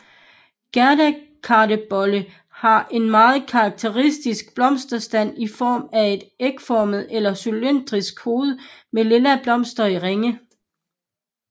Gærdekartebolle har en meget karakteristisk blomsterstand i form af et ægformet eller cylindrisk hoved med lilla blomster i ringe